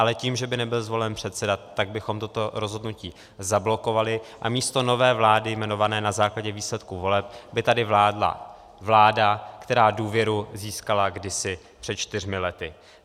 Ale tím, že by nebyl zvolen předseda, tak bychom toto rozhodnutí zablokovali a místo nové vlády jmenované na základě výsledků voleb by tady vládla vláda, která důvěru získala kdysi před čtyřmi lety.